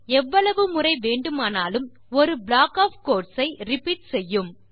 எவ்வளவு முறை வேண்டுமானாலும் ஒரு ப்ளாக் ஒஃப் கோட்ஸ் ஐ ரிப்பீட் செய்யும்